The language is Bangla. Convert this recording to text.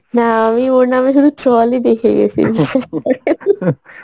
না, আমি ওর নামে শুধু troll ই দেখে গেসি বিশ্বাস করেন